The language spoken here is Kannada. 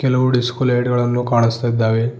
ಹಲವು ಡಿಸ್ಕೊ ಲೈಟ್ ಗಳನ್ನು ಕಾನಸ್ತಿದ್ದಾವೆ.